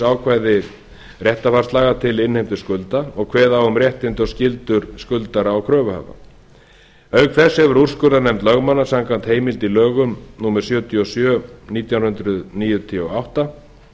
ákvæði réttarfarslaga til innheimtu skulda og kveða á um réttindi og skyldur skuldara og kröfuhafa auk þess hefur úrskurðarnefnd lögmanna samkvæmt heimild í lögum númer sjötíu og sjö nítján hundruð níutíu og átta